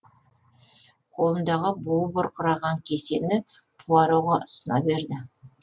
қолындағы буы бұрқыраған кесені пуароға ұсына берді